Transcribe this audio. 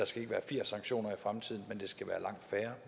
skal være firs sanktioner i fremtiden